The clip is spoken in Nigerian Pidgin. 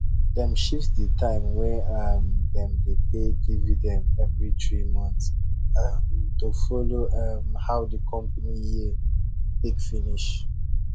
dem shift the time wey um dem dey pay dividend every three months um to follow um how the company year take finish